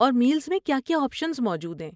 اور میلز میں کیا کیا آپشنز موجود ہیں؟